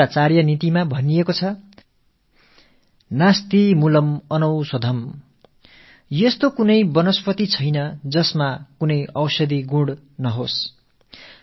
சுக்ரநீதியோ நாஸ்தி மூலம் அனவுஷதம் அதாவது மருத்துவ குணமே இல்லாத எந்த ஒரு தாவரமும் இல்லை என்கிறது